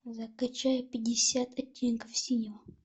закачай пятьдесят оттенков синего